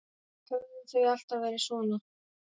Höfðu þau alltaf verið svona?